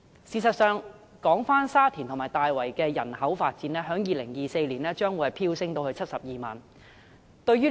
事實上，沙田和大圍的人口將於2024年飆升至72萬人。